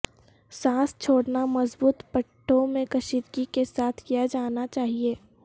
سانس چھوڑنا مضبوط پٹھوں میں کشیدگی کے ساتھ کیا جانا چاہئے